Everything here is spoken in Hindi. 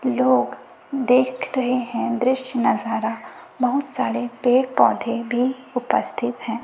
लोग देख रहे हैं दृश्य नजारा बहुत सारे पेड़ पौधे भी उपस्थित हैं।